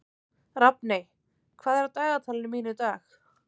Rafney, hvað er á dagatalinu mínu í dag?